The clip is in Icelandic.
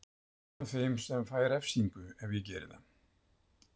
Ég er einn af þeim sem fæ refsingu ef ég geri það.